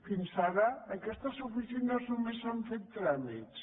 fins ara en aquestes oficines només s’hi han fet tràmits